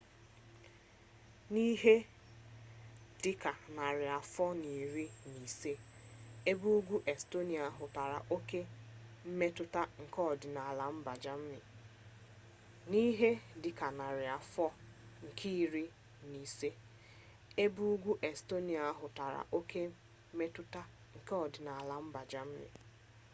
n'ihe dị ka narị afọ nke iri na ise ebe ugwu estonia hụtara oke mmetụta nke ọdịnala mba germany